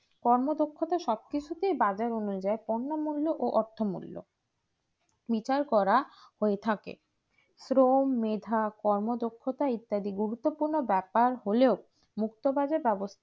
কর্মদক্ষতা সবকিছুতে বাজারের অনুযায়ী পন্নমূল্য অর্থ মূল্য বিশাল করা হয়ে থাকে ক্রোম মেধা কর্মদক্ষতা ইত্যাদি গুরুত্বপূর্ণ ব্যাপার হলো মুক্তবাজার